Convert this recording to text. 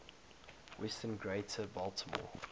western greater baltimore